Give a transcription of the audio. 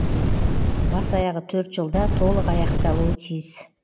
бас аяғы төрт жылда толық аяқталуы тиіс